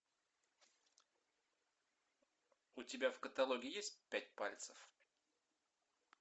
у тебя в каталоге есть пять пальцев